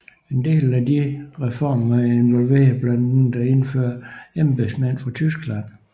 En del af disse reformer involverede blandt andet at indføre embedsmænd fra Tyskland